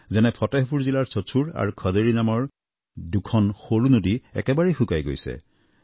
যেনে ফটেহপুৰ জিলাৰ চচুৰ খদেৰী নামৰ দুখন সৰু নদী একেবাৰেই শুকাই গৈছে